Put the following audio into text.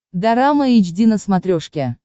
дорама эйч ди на смотрешке